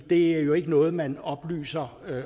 det er jo ikke noget man oplyser